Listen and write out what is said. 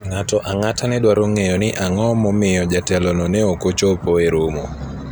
ng'ato ang'ata ne dwaro ng'eyo ni ang'o momiyo jatelo no ne ok ochopo e romo